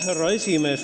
Härra esimees!